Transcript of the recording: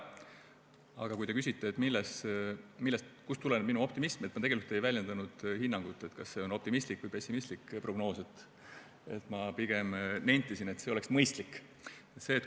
Aga kui te küsite, kust tuleneb minu optimism, siis ma tegelikult ei väljendanud hinnangut, kas see on optimistlik või pessimistlik prognoos, ma pigem nentisin, et see oleks mõistlik.